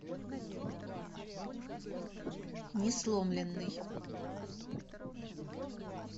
несломленный